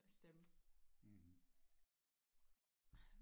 stemme